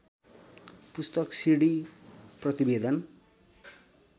पुस्तक सिडी प्रतिवेदन